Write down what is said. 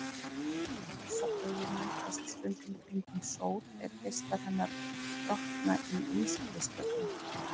Rosabaugur myndast stundum kringum sól er geislar hennar brotna í ískristöllunum.